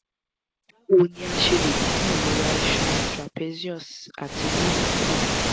báwo ni a ṣe le dín ìrora iṣan trapezius àti wíwú kù?